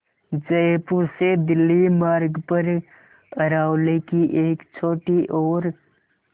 जयपुर से दिल्ली मार्ग पर अरावली की एक छोटी और